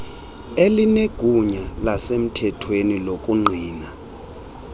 elinegunya lasemthethweni lokungqina